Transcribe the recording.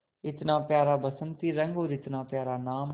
इतना प्यारा बसंती रंग और इतना प्यारा नाम